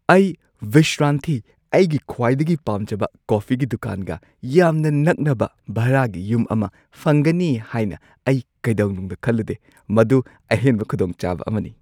ꯑꯩ ꯕꯤꯁ꯭ꯔꯥꯟꯊꯤ (ꯑꯩꯒꯤ ꯈ꯭ꯋꯥꯏꯗꯒꯤ ꯄꯥꯝꯖꯕ ꯀꯣꯐꯤꯒꯤ ꯗꯨꯀꯥꯟ) ꯒ ꯌꯥꯝꯅ ꯅꯛꯅꯕ ꯚꯥꯔꯥꯒꯤ ꯌꯨꯝ ꯑꯃ ꯐꯪꯒꯅꯤ ꯍꯥꯏꯅ ꯑꯩ ꯀꯩꯗꯧꯅꯨꯡꯗ ꯈꯜꯂꯨꯗꯦ ꯫ ꯃꯗꯨ ꯑꯍꯦꯟꯕ ꯈꯨꯗꯣꯡꯆꯥꯕ ꯑꯃꯅꯤ!